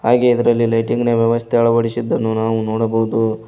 ನನಗೆ ಇದ್ರಲಿ ಲೈಟ್ಟಿಂಗ್ನ ವ್ಯವಸ್ಥೆ ಅಳವಡಿಸಿದ್ದು ನಾವು ನೋಡಬವುದು.